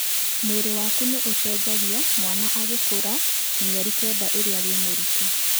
Mwĩrĩ waku nĩ ũcenjagia mwana agĩkũra mĩeri kenda ĩrĩa wĩ mũritũ.